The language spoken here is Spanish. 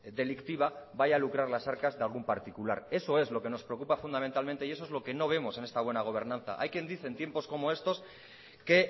delictiva vaya a lucrar las arcas de algún particular eso es lo que nos preocupa fundamentalmente y eso es lo que no vemos en esta buena gobernanza hay quien dice en tiempos como estos que